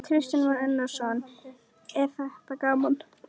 Kristján Már Unnarsson: Er þetta gaman?